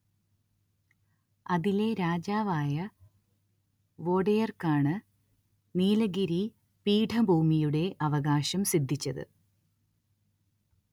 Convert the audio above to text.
അതിലെ രാജാവായ വോഡെയർക്കാണ്‌ നീലഗിരി പീഠഭൂമിയുടെ അവകാശം സിദ്ധിച്ചത്